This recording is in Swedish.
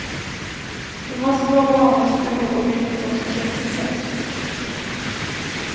Det måste vara barnens behov och villkor som sätts i centrum.